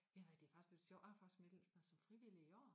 Jamen det faktisk ret sjovt jeg har faktisk meldt mig som frivillig i år